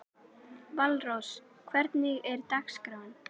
Valrós, hvernig er dagskráin?